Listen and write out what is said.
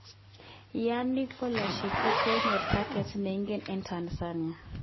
Yannick Bolassie kokonyor taget neinegen eng Tanzania.